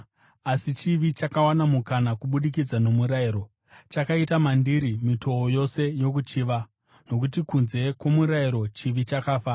Asi chivi, chakawana mukana kubudikidza nomurayiro, chakaita mandiri mitoo yose yokuchiva. Nokuti kunze kwomurayiro, chivi chakafa.